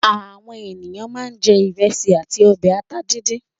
Àwọn ènìyàn máa ń jẹ ìrẹsì àti ọbẹ̀ ata dídín.